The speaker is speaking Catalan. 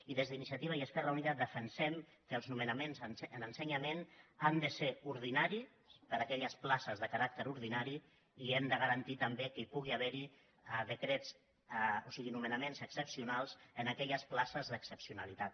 i des d’iniciativa i esquerra unida defen·sem que els nomenaments en ensenyament han de ser ordinaris per a aquelles places de caràcter ordinari i hem de garantir també que hi pugui haver nomena·ments excepcionals en aquelles places d’excepcionali·tat